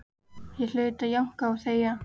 Ég hlaut að jánka og þegja.